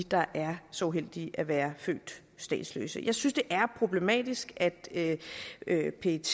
der er så uheldige at være født statsløse jeg synes det er problematisk at at pet